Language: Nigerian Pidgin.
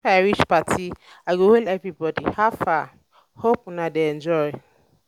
if i reach party i go um hail everybody "how far? hope um una dey enjoy!"